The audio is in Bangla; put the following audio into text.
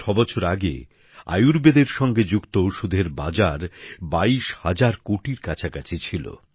৬বছর আগে আয়ুর্বেদের সঙ্গে যুক্ত ওষুধের বাজার ২২০০০ কোটি টাকার কাছাকাছি ছিল